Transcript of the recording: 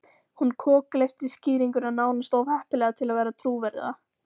Hún kokgleypti skýringuna, nánast of heppilega til að vera trúverðuga.